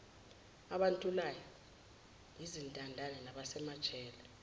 abantulayo izintandane nabasemajele